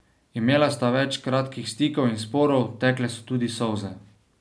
Imela sta več kratkih stikov in sporov, tekle so tudi solze.